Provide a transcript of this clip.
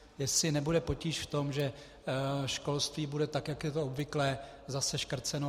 Jestli nebude potíž v tom, že školství bude, tak jak je to obvyklé, zase škrceno.